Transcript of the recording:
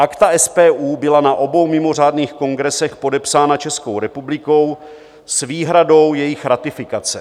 Akta SPU byla na obou mimořádných kongresech podepsána Českou republikou s výhradou jejich ratifikace.